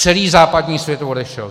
Celý západní svět odešel.